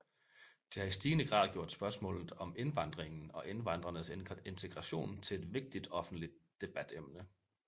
Det har i stigende grad gjort spørgsmål om indvandringen og indvandrernes integration til et vigtigt offentligt debatemne